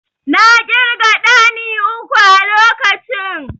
I counted three hand pan at the time.